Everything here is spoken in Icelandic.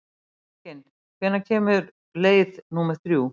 Mekkin, hvenær kemur leið númer þrjú?